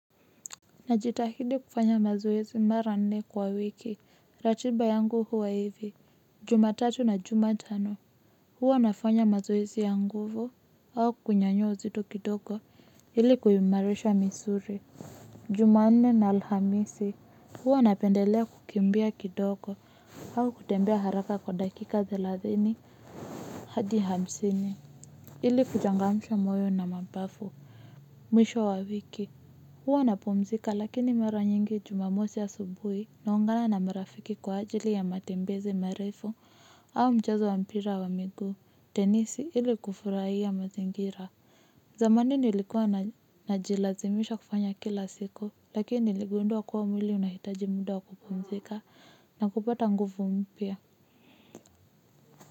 Najitahidi kufanya mazoezi mara nne kwa wiki. Ratiba yangu huwa hivi, jumatatu na jumatano, huwa nafanya mazoezi ya nguvu, au kunyanyua uzito kidogo ili kuimarisha misuli. Jumanne na Alhamisi, huwa napendelea kukimbia kidogo, au kutembea haraka kwa dakika thelathini hadi hamsini ili kuchangamsha moyo na mapafu mwisho wa wiki. Huwa napumzika lakini mara nyingi jumamosi asubuhi naungana na marafiki kwa ajili ya matembezi marefu au mchezo wa mpira wa miguu, tenisi ili kufurahia mazingira. Zamani nilikuwa najilazimisha kufanya kila siku lakini niligundua kuwa mwili unahitaji muda wa kupumzika na kupata nguvu mpya.